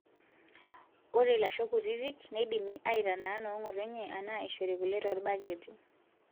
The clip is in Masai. Ore lashoo kutitik neidimi aitanaa nong'otonye enaa eishori kule toolbaketi.